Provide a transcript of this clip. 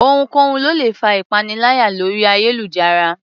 Ohunkóhun ló lè fa ìpaniláyà lórí ayélujára